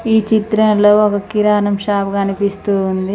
ఈ చిత్రంలో ఒక కిరాణం షాప్ కనిపిస్తూ ఉంది